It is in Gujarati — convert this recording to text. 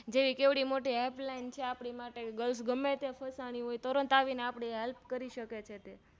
જેવડી કેટલી મોટી Helpline છે આપની માટે Girls ગમે ત્યાં ફસાણી હોય તરત આવીને આપની Help કરી શકે છે